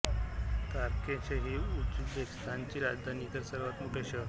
Tashkent ही उझबेकिस्तानची राजधानी व सर्वांत मोठे शहर आहे